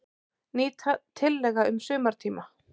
Ný tillaga um sumartíma.